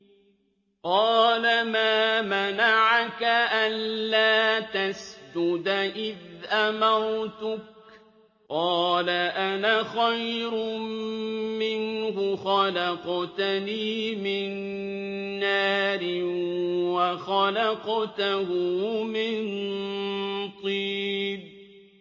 قَالَ مَا مَنَعَكَ أَلَّا تَسْجُدَ إِذْ أَمَرْتُكَ ۖ قَالَ أَنَا خَيْرٌ مِّنْهُ خَلَقْتَنِي مِن نَّارٍ وَخَلَقْتَهُ مِن طِينٍ